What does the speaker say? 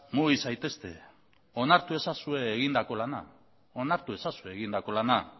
mugi zaitezte onartu ezazue egindako lana